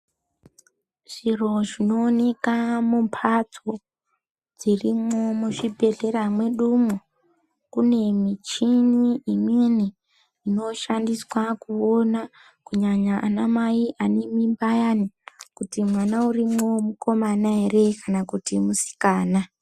Zviro zvinooneka mumbatso dzirimwo muzvibhedhlera mwedu umwo kune mishini imweni inoshandiswa kuona kunyanya ana mai ane mimba ayani kuti mwana urimo mukomana ere kana kuti musikana.